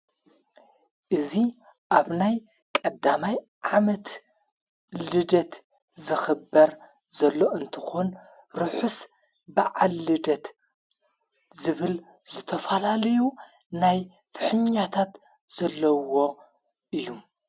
እዙ ኣብ ናይ ቐዳማይ ዓመት ልደት ዝኽበር ዘሎ እንተኾን ርሑስ ብዓልደት ዝብል ዘተፈላልዩ ናይ ፍሕኛታት ዘለውዎ እዩ።